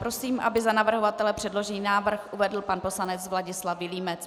Prosím, aby za navrhovatele předložený návrh uvedl pan poslanec Vladislav Vilímec.